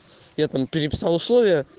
я там переписал условия